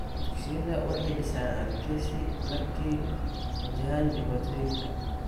Dugsiyada waxay dhisaan adkeysi marka ay wajahaan dhibaatooyinka.